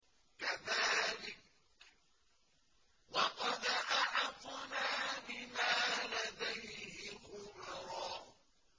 كَذَٰلِكَ وَقَدْ أَحَطْنَا بِمَا لَدَيْهِ خُبْرًا